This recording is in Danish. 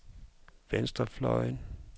venstrefløjen